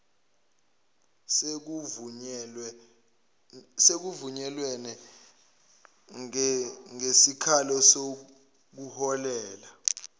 sekuvunyelwene ngesikalo sokuholela